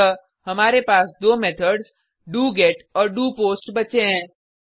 अतः हमारे पास दो मेथड्स डोगेट और डोपोस्ट बचे हैं